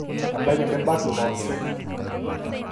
Ebaiki nibak ilo-osek